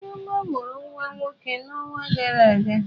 Chioma mụrụ nwa nwoke n'ọnwa gara aga.